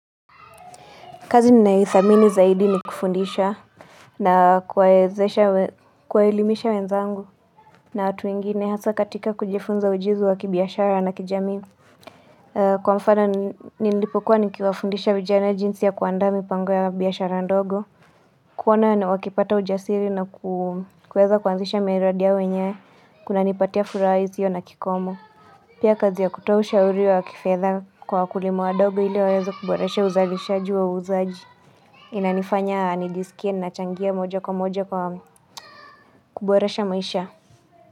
Kazi ninaithamini zaidi ni kufundisha na kuwaezesha, kuwaelimisha wenzangu na watu wengine hasa katika kujifunza ujuzi wa kibiashara na kijamii. Kwa mfano ni nilipokuwa nikiwafundisha vijana jinsi ya kuandaa mipango ya biashara ndogo. Kuona ni wakipata ujasiri na kuweza kuanzisha miradi yao wenyewe kunanipatia furaha isio na kikomo. Pia kazi ya kutoa ushauri wa kifedha kwa wakulima wadogo ili waeze kuboresha uzalishaji wa uzaji. Inanifanya nijiskie nachangia moja kwa moja kwa kuboresha maisha.